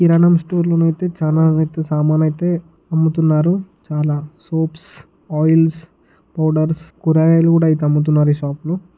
కిరాణం స్టోర్ లో అయితే చానా సామాన్లు అయితే అమ్ముతున్నారు చాలా సోప్స్ ఆయిల్స్ పౌడర్స్ కూరగాయలు కూడా అమ్ముతున్నారు ఈ షాప్లో .